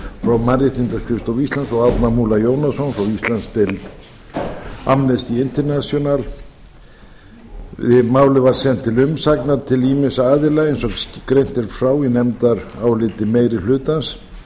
frá mannréttindaskrifstofu íslands og árna múla jónasson frá íslandsdeild amnesty international málið var sent til umsagnar til ýmissa aðila eins og greint er frá í nefndaráliti meiri hlutans